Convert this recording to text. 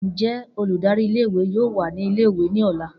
Njẹ oludari ìle-ìwe yoo wa ni ìle-ìwe ni ọla?